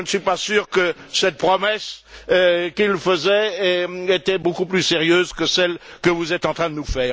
Je ne suis pas sûr que la promesse qu'il faisait était beaucoup plus sérieuse que celle que vous êtes en train nous